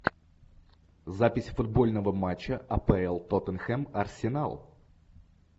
запись футбольного матча апл тоттенхэм арсенал